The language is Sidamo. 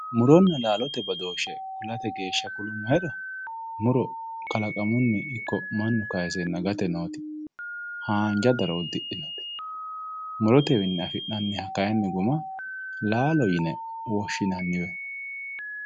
Muronna laalote badooshshe kulate geeshsha kulummohero muro kalaqamunni ikko mannu kaaseenna gate noote haanja daro uddidhinote murotewiinni afi'nanniha guma laalote yinanni